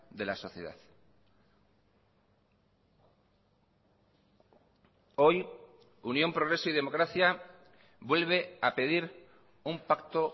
de la sociedad hoy unión progreso y democracia vuelve a pedir un pacto